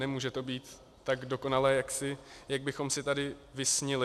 Nemůže to být tak dokonalé, jak bychom si tady vysnili.